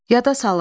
Yada salın.